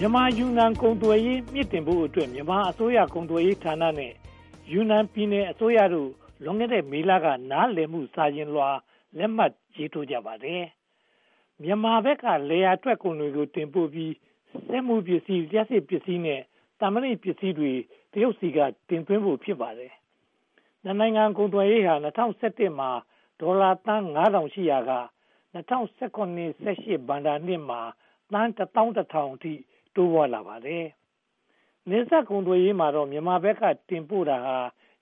မြန်မာ-ယူနန် ကုန်သွယ်ရေး မြှင့်တင်ဖို့အတွက် မြန်မာအစိုးရကုန်သွယ်ရေးဌာနနဲ့ ယူနန်ပြည်နယ်အစိုးရတို့ လွန်ခဲ့တဲ့မေလက နားလည်မှု စာချွန်လွှာလက်မှတ် ရေးထိုးကြပါတယ်။ မြန်မာဘက်က လယ်ယာထွက်ကုန်တွေ တင်ပို့ပြီး၊ စက်မှုပစ္စည်း၊ လျှပ်စစ်ပစ္စည်း၊ သံမဏီပစ္စည်းတွေကို တရုတ်ဘက်က တင်သွင်းဖို့ ဖြစ်ပါတယ်။ နှစ်နိုင်ငံကုန်သွယ်ရေး ပမာဏဟာ ၂၀၁၁ မှာ အမေရိကန်ဒေါ်လာ ငါးထောင်ရှိရာက ၂၀၁၇-၁၈ ဘဏ္ဍာရေးနှစ်မှာ ဒေါ်လာသန်း (၁,၁၀၀၀) အထိ တိုးမြင့်လာပါတယ်။ နယ်စပ်ကုန်သွယ်ရေးမှာတော့ မြန်မာဘက်ကတင်ပို့တာဟာ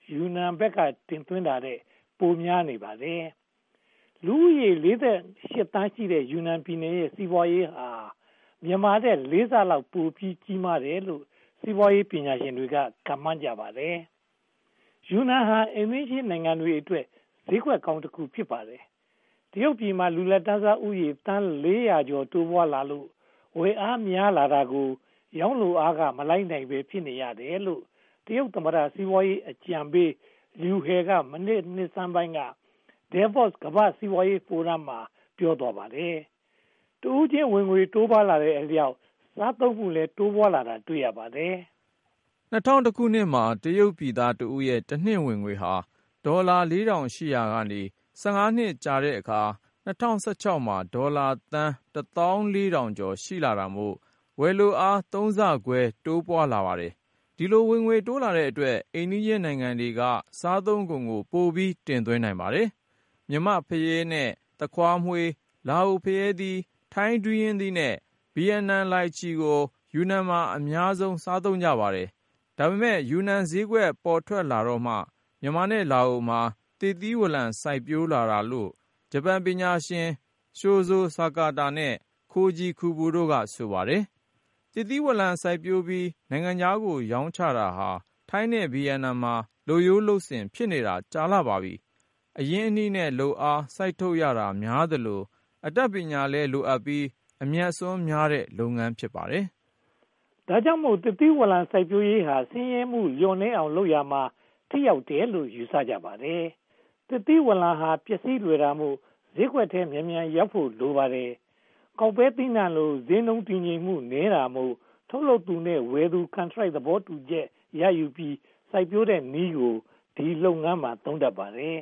ယူနန်ဘက်က တင်သွင်းတာထက် ပိုများနေပါတယ်။ လူဦးရေး (၄၈) သန်းရှိတဲ့ ယူနန်ပြည်နယ်ရဲ့ စီးပွားရေးဟာ မြန်မာထက် လေးဆလောက် ပိုကြီးမားတယ်လို့ စီးပွားရေးပညာရှင်တွေက ခန့်မှန်းကြပါတယ်။ ယူနန်ဟာ အိမ်နီးချင်းနိုင်ငံတွေအတွက် ဈေးကွက်ကောင်း ဖြစ်လာပါတယ်။ တရုတ်ပြည်မှာ လူလတ်တန်းစားဦးရေ သန်း (၄၀၀) ကျော် တိုးပွားလာလို့ ဝယ်လိုအား များပြားလာတာကို ရောင်းလိုအားက မလိုက်နိုင်ဘဲ ဖြစ်နေရတယ်လို့ တရုတ်သမ္မတ စီးပွားရေးအကြံပေး လျူဟယ် (Liu He) က နှစ်ဆန်းပိုင်းက Devos ကမ္ဘာ့စီးပွားရေးဖိုရမ်မှာ ပြောသွားခဲ့ပါတယ်။ တဦးချင်းဝင်ငွေ တိုးပွားလာတဲ့အတွက် စားသုံးနှုန်းမှုလည်း တိုးပွားလာတာ တွေ့ရပါတယ်။ ၂၀၁၁ မှာ တရုတ်ပြည်သားတဦးရဲ့ တနှစ်ဝင်ငွေဟာ ဒေါ်လာ (၄၀၀၀) ကျော်ရှိရာက (၁၅) နှစ်အကြာ ၂၀၁၆ မှာ ဒေါ်လာ (၁၄,၀၀၀) ကျော် ရှိလာတာမို့ ဝယ်လိုအား သုံးဆခွဲ တိုးပွားလာပါတယ်။ ဒီလို ဝင်ငွေတိုးလာတဲ့အတွက် အိမ်နီးချင်းနိုင်ငံတွေက စားသုံးကုန်ကို ပိုပြီးတင်သွင်းနိုင်ပါတယ်။ မြန်မာ့ဖရဲသီး နဲ့ သခွားမွှေး၊ လာအိုဖရဲသီး၊ ထိုင်းဒူးရင်းသီး နဲ့ ဗိယက်နမ်လိုင်ချီတို့ကို ယူနန်မှာ အများဆုံး စားသုံးကြပါတယ်။ ဒါပေမဲ့ ယူနန်ဈေးကွက် ပေါ်ထွက်လာတော့မှ မြန်မာနဲ့လာအိုမှာ သစ်သီးဝလံ စိုက်ပျိုးလာတာလို့ ဂျပန်ပညာရှင် Shozo Sakata နဲ့ Koji Kubo တို့က ဆိုပါတယ်။ သစ်သီးဝလံ စိုက်ပျိုးပြီး နိုင်ငံခြားကို ရောင်းချတာဟာ ထိုင်းနဲ့ဗိယက်နမ်မှာ လုပ်ရိုးလုပ်စဉ် ဖြစ်နေတာ ကြာခဲ့ပါပြီ။ အရင်းအနှီးနဲ့ လုပ်အားစိုက်ထုတ်ရတာများသလို အတတ်ပညာလည်းလိုအပ်ပြီး အမြတ်အစွန်းများတဲ့ လုပ်ငန်း ဖြစ်ပါတယ်။ ဒါကြောင့်မို့ သစ်သီးဝလံ စိုက်ပျိုးရေးဟာ ဆင်းရဲမှုလျော့နည်းအောင် လုပ်ရာမှာ ထိရောက်တယ်လို့ ယူဆကြပါတယ်။ သစ်သီးဝလံဟာ ပျက်စီးလွယ်တာမို့ ထုတ်လုပ်သူနဲ့ ဝယ်သူ ကန်ထရိုက် သဘောတူညီမှု ရယူပြီး စိုက်ပျိုးတဲ့နည်းက ဒီလုပ်ငန်းမှာ ခေတ်စားလာပါတယ်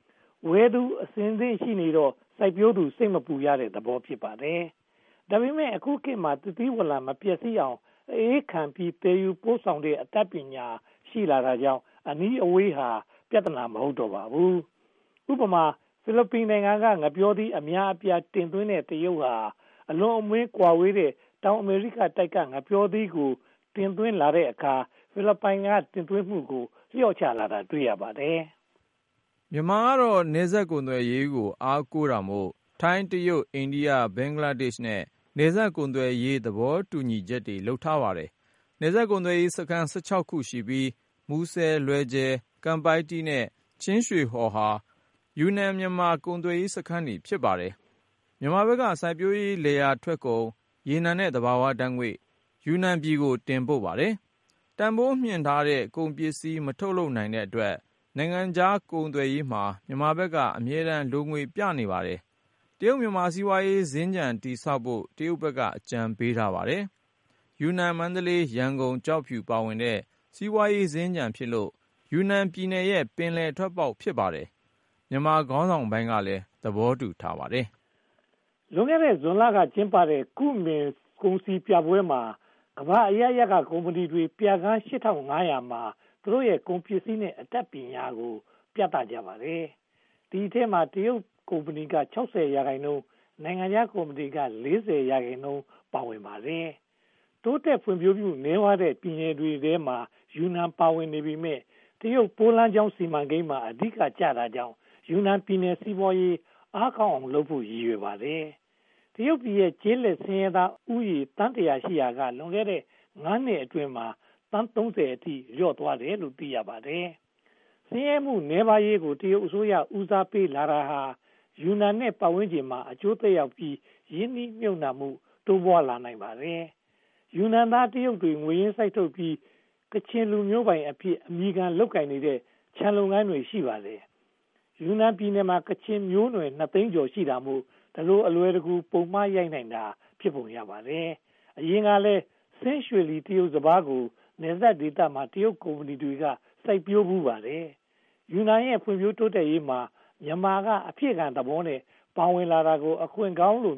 ။ ဝယ်သူအဆင်သင့်ရှိနေတော့ စိုက်ပျိုးသူ စိတ်မပူရတဲ့သဘော ဖြစ်ပါတယ်။ ဒါပေမဲ့ အခုခေတ်မှာ သစ်သီးဝလံ မပျက်စီးအောင် အအေးခံပြီး သယ်ယူပို့ဆောင်နိုင်တဲ့ နည်းပညာ ရှိလာတာကြောင့် အနီးအဝေးဟာ ပြဿနာ မဟုတ်တော့ပါဘူး။ ဥပမာ ဖိလစ်ပိုင်နိုင်ငံက ငှက်ပျောသီး အများအပြား တင်သွင်းတဲ့ တရုတ်နိုင်ငံဟာ အလွန်ဝေးကွာတဲ့ တောင်အမေရိကတိုက်က ငှက်ပျောသီးကို တင်သွင်းလိုက်တဲ့အခါ ဖိလစ်ပိုင်က တင်သွင်းမှုကို လျော့ချလာတာ တွေ့ရပါတယ်။ မြန်မာနိုင်ငံကတော့ နယ်စပ်ကုန်သွယ်ရေးကို အားကိုးတာမို့ ထိုင်း၊ တရုတ်၊ အိန္ဒိယ၊ ဘင်္ဂလားဒေ့ရှ်နဲ့ နယ်စပ်ကုန်သွယ်ရေး သဘောတူညီချက်တွေ လုပ်ထားပါတယ်။ နယ်စပ်ကုန်သွယ်ရေးစခန်း (၁၆) ခု ရှိပြီး၊ မူဆယ်၊ လွယ်ဂျေ၊ ကန်ပိုက်တီး နဲ့ ချင်းရွှေဟော်တို့ဟာ ယူနန်-မြန်မာ ကုန်သွယ်ရေးစခန်းတွေ ဖြစ်ပါတယ်။ မြန်မာဘက်က စိုက်ပျိုးလယ်ယာထွက်ကုန်၊ ရေနံနဲ့သဘာဝဓါတ်ငွေ့တို့ကို ယူနန်ကို တင်ပို့ပါတယ်။ တန်းဖိုးမြှင့်ထားတဲ့ ကုန်ပစ္စည်း မထုတ်လုပ်နိုင်တဲ့အတွက် နိုင်ငံခြားကုန်သွယ်ရေးမှာ မြန်မာဘက်က အမြဲတမ်း လိုငွေပြနေပါတယ်။ တရုတ်-မြန်မာ စီးပွားရေး စင်္ကြန်တည်ဆောက်ဖို့ တရုတ်ဘက်က အကြံပေးထားပါတယ်။ ယူနန်-မန္တလေး-ရန်ကုန်-ကျောက်ဖြူ တို့ပါဝင်တဲ့ စီးပွားရေးစင်္ကြန်ဖြစ်လို့ ယူနန်ပြည်နယ်ရဲ့ ပင်လယ်ထွက်ပေါက် ဖြစ်ပါတယ်။ မြန်မာခေါင်းဆောင်ပိုင်းကလည်း သဘောတူထားပါတယ်။ လွန်ခဲ့တဲ့ ဇွန်လက ကျင်းပပြုလုပ်ခဲ့တဲ့ ကုမင်ကုန်စည်ပြပွဲမှာ ကမ္ဘာအရပ်ရပ်က ကုမ္မဏီတွေက ပြခန်း (၈၅၀၀) မှာ သူတို့ထုတ်လုပ်နေတဲ့ ကုန်ပစ္စည်းတွေနဲ့ အတတ်နည်းပညာတွေကို ခင်းကျင်းပြသကြပါတယ်။ ဒီအထဲမှာ တရုတ်ကုမ္ပဏီတွေက (၆၀) ရာခိုင်နှုန်းရှိပြီး နိုင်ငံခြားကုမ္ပဏီတွေက (၄၀) ရာခိုင်နှုန်း ပါဝင်ကြပါတယ်။ တိုးတက်ဖွံ့ဖြိုးမှုနည်းပါးတဲ့ ပြည်နယ်တွေထဲမှာ ယူနန်ပြည်နယ် ပါဝင်နေပေမယ့် တရုတ်ရဲ့ မဟာစီးပွားရေးစီမံကိန်းမှာ အဓိကကျတာကြောင့် ယူနန်ပြည်နယ် စီးပွားရေးအားကောင်းအောင်လုပ်ဖို့ ရည်ရွယ်ပါတယ်။ တရုတ်နိုင်ငံမှာ ကျေးလက်ဆင်းရဲသားဦးရေ သန်းတစ်ရာ ရှိရာက လွန်ခဲ့တဲ့ (၅) နှစ်အတွင်းမှာ သန်း (၃၀) အထိ လျော့သွားတယ်လို့ သိရပါတယ်။ ဆင်းရဲမှုနည်းပါးရေးကို တရုတ်အစိုးရ ဦးစားပေးလာတာ ယူနန်နဲ့ ပတ်ဝန်းကျင်မှာ အကျိုးသက်ရောက်ပြီး ရင်းနှီးမြုပ်နံှမှု တိုးပွားလာနိုင်ပါတယ်။ ယူနန်ပြည်နယ်သား တရုတ်တွေက ငွေရင်းစိုက်ထုတ်ပြီး ကချင်လူမျိုးပိုင်အဖြစ် အမည်ခံလုပ်ကိုင်နေတဲ့ ခြံလုပ်ငန်းတွေ ရှိပါတယ်။ ယူနန်ပြည်နယ်မှာ ကချင်မျိုးနွယ် (၂) သိန်းကျော် ရှိတာမို့ ဒီလိုအလွယ်တကူ ပုံမှားရိုက်နိုင်တာ ဖြစ်ပုံရပါတယ်။ အရင်ကလည်း ဆင်းရွှေလီ တရုတ်စပါးကို နယ်စပ်ဒေသမှာ တရုတ်ကုမ္ပဏီတွေ စိုက်ဖူးပါတယ်။ ယူနန်ရဲ့ ဖွံ့ဖြိုးတိုးတက်ရေးမှာ မြန်မာက အဖြည့်ခံသဘောမျိုးနဲ့ ပါဝင်လာတာကို အခွင့်ကောင်းလိ